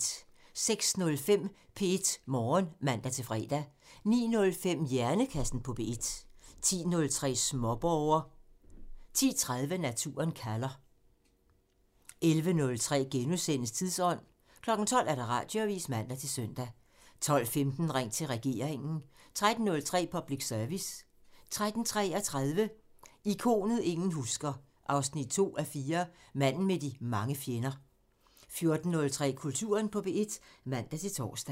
06:05: P1 Morgen (man-fre) 09:05: Hjernekassen på P1 (man) 10:03: Småborger (man) 10:30: Naturen kalder (man) 11:03: Tidsånd *(man) 12:00: Radioavisen (man-søn) 12:15: Ring til regeringen (man) 13:03: Public Service (man-tor) 13:33: Ikonet ingen husker – 2:4 Manden med de mange fjender 14:03: Kulturen på P1 (man-tor)